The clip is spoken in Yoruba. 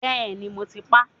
Bẹ́ẹ̀ni, mo ti pa